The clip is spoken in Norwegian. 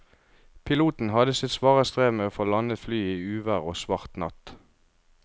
Piloten hadde sitt svare strev med å få landet flyet i uvær og svart natt.